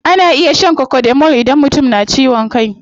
Ana iya shan cocodamol idan mutum na ciwon kai.